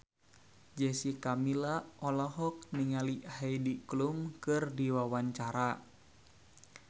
Jessica Milla olohok ningali Heidi Klum keur diwawancara